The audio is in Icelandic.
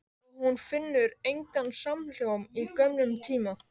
Og hún finnur engan samhljóm í gömlum tíma.